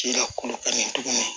Ci la kolo ka ɲi tuguni